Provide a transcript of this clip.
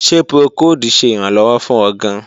Ṣe procold ṣe iranlọwọ fun ọ gaan?